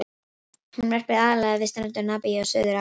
Hún verpir aðallega við strendur Namibíu og Suður-Afríku.